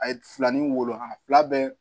A ye filanin wolo a fila bɛɛ